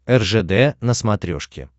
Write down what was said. ржд на смотрешке